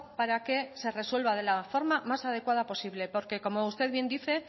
para que se resuelva de la forma más adecuada posible porque como usted bien dice